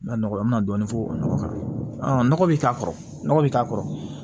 Ma nɔgɔ an mi na dɔɔnin fo o nɔgɔ kan nɔgɔ be k'a kɔrɔ nɔgɔ bi k'a kɔrɔ